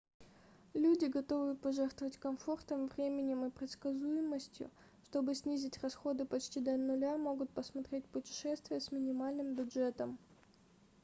люди готовые пожертвовать комфортом временем и предсказуемостью чтобы снизить расходы почти до нуля могут посмотреть путешествия с минимальным бюджетом